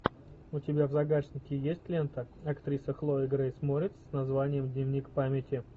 у тебя в загашнике есть лента актриса хлоя грейс морец с названием дневник памяти